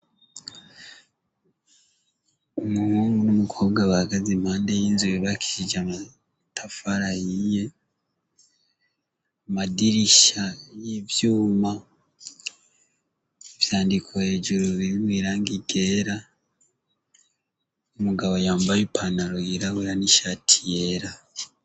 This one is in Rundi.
Umuhungu n'umukobwa bahagaze impande y'inzu yubakishije amatafari ahiye, amadirisha y'ivyuma ivyandiko hejuru birimwo irangi ryera, umugabo yambaye ipantaro yirabura n'ishati yera.